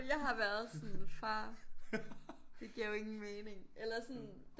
Jeg har været sådan far det giver jo ingen mening eller sådan